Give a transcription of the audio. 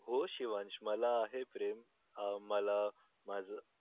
हो शिवांश मला आहे प्रेम अं मला माझं